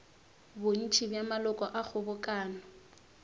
bontši bja maloko a kgobokano